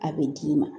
A bɛ d'i ma